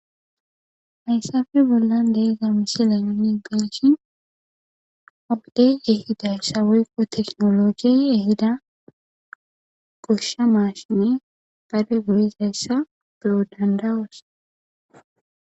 Hessappe bollan de'zza missile nuni be'ishin ha wode ehidayssa woykko teknolojye ehida goshsha mashine goyizayssa beoo' dandao'ss.